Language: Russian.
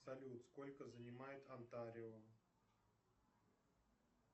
салют сколько занимает онтарио